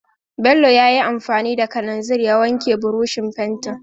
Bello ya yi anfani da kalanzir ya wanke burushin fentin.